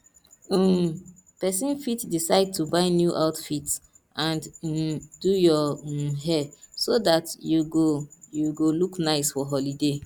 um persin fit decide to buy new outfits and um do your um hair so that you go you go look nice for holiday